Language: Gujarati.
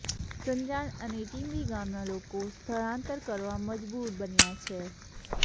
સંજાણ અને ટિંબી ગામના લોકો સ્થળાંતર કરવા મજબુર બન્યા છે